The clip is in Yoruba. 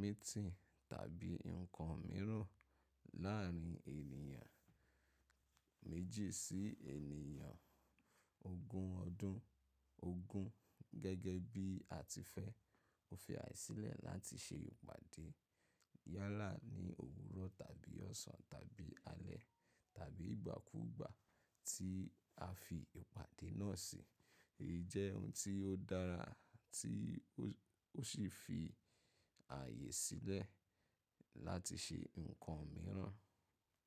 meeting tàbí nǹkan mìíràn láàrín ènìyàn méjì sí ènìyàn ogún ọdún ogún gẹ́gẹ́ bí a ti fẹ́. Ó fi ààyè sílẹ̀ láti ṣe ìpàdé yálà ní òwúrọ̀ tàbí ọ̀sán tàbí alẹ́ tàbí ìgbàkúùgbà tí a fi ìpàdé náà sí. Èyí jẹ́ ohun tí ó dára tí ó sì fi ààyè sílẹ̀ láti ṣe nǹkan mìíràn.